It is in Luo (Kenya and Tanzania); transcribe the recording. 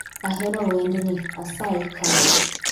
ahero wendni asayi kane